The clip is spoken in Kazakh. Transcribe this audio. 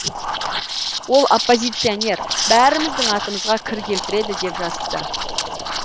ол оппозиционер бәріміздің атымызға кір келтіреді деп жазыпты